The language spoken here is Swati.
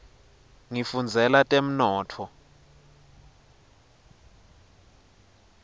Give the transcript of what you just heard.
ngifundzela temnotfo